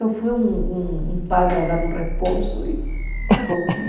Só foi um um um padre a dar dar um responso e acabou, né?